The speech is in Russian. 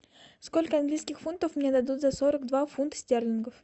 сколько английских фунтов мне дадут за сорок два фунта стерлингов